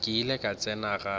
ke ile ka tsena gape